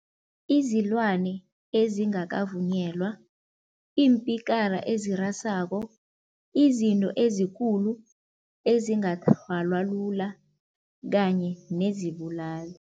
Izilwane ezingakavunyelwa, iimpikara ezirasako, izinto ezikulu ezingathalwa lula kanye nezibulali.